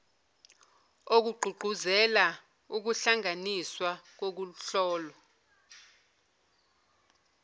okugqugquzela ukuhlanganiswa kokuhlola